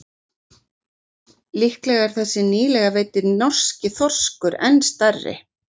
Líklega er þessi nýlega veiddi norski þorskur enn stærri.